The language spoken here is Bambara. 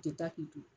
U tɛ taa k'i to